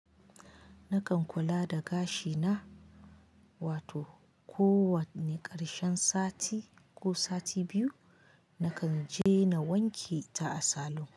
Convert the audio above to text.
Nakan kula da gashi na, wato kowane ƙarshen sati ko sati biyu nakan je na wanke ta a salon.